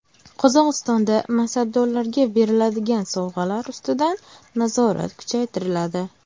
Qozog‘istonda mansabdorlarga beriladigan sovg‘alar ustidan nazorat kuchaytiriladi.